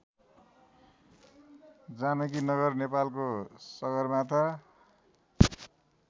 जानकीनगर नेपालको सगरमाथा